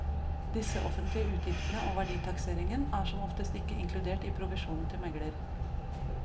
Disse offentlige utgiftene, og verditakseringen, er som oftest ikke inkludert i provisjonen til megler.